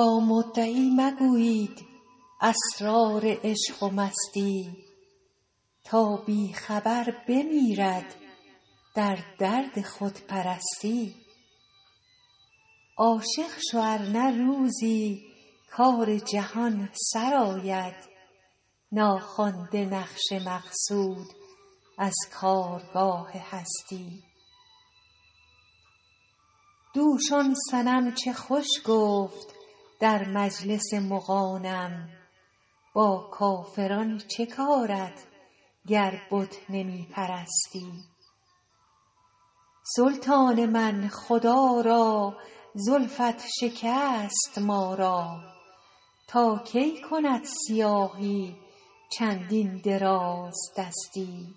با مدعی مگویید اسرار عشق و مستی تا بی خبر بمیرد در درد خودپرستی عاشق شو ار نه روزی کار جهان سرآید ناخوانده نقش مقصود از کارگاه هستی دوش آن صنم چه خوش گفت در مجلس مغانم با کافران چه کارت گر بت نمی پرستی سلطان من خدا را زلفت شکست ما را تا کی کند سیاهی چندین درازدستی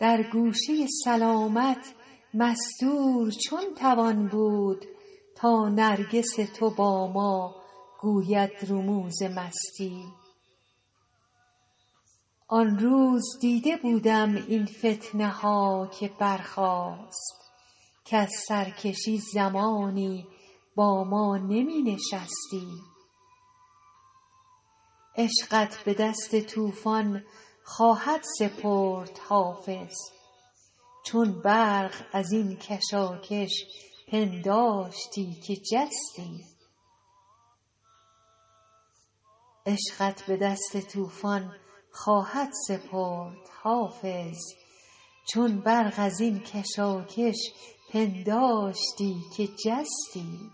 در گوشه سلامت مستور چون توان بود تا نرگس تو با ما گوید رموز مستی آن روز دیده بودم این فتنه ها که برخاست کز سرکشی زمانی با ما نمی نشستی عشقت به دست طوفان خواهد سپرد حافظ چون برق از این کشاکش پنداشتی که جستی